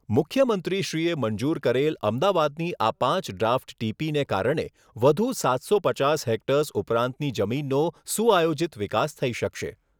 મુખ્યમંત્રીશ્રીએ મંજૂર કરેલ અમદાવાદની આ પાંચ ડ્રાફ્ટ ટીપીને કારણે વધુ સાતસો પચાસ હેક્ટર્સ ઉપરાંતની જમીનનો સુઆયોજિત વિકાસ થઈ શકશે.